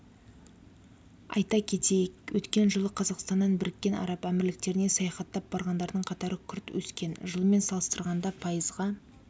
айта кетейік өткен жылы қазақстаннан біріккен араб әмірліктеріне саяхаттап барғандардың қатары күрт өскен жылмен салыстырғанда пайызға